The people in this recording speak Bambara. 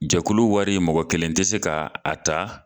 Jakulu wari mɔgɔ kelen tɛ se ka a ta